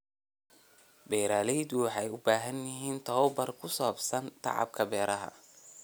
Beeraleydu waxay u baahan yihiin tabobar ku saabsan tacabka beeraha.